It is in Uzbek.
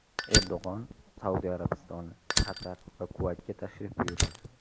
Erdo‘g‘on Saudiya Arabistoni, Qatar va Kuvaytga tashrif buyuradi.